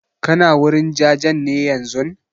Kana wurin jajen ne yanzun?